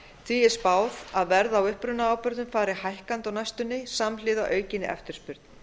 því er spáð að verð á upprunaábyrgðum fari hækkandi á næstunni samhliða aukinni eftirspurn